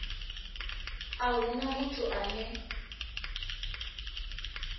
a hu na muthu ane